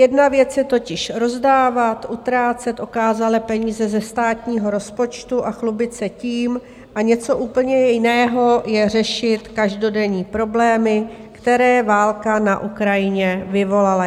Jedna věc je totiž rozdávat, utrácet okázale peníze ze státního rozpočtu a chlubit se tím, a něco úplně jiného je řešit každodenní problémy, které válka na Ukrajině vyvolala.